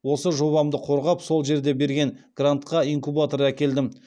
осы жобамды қорғап сол жерде берген грантқа инкубатор әкелдім